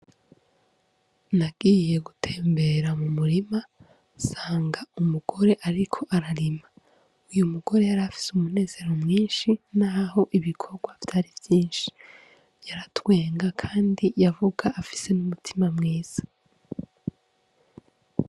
Nagiye gutembera mu murima sanga umugore, ariko ararima uyu mugore yarafise umunezero mwinshi, naho ibikorwa vyari vyinshi yaratwenga, kandi yavuga afise n'umutima mwiza.